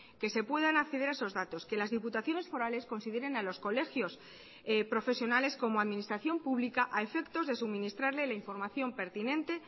que se puedan acceder a esos datos que las diputaciones forales consideren a los colegios profesionales como administración pública a efectos de suministrarle la información pertinente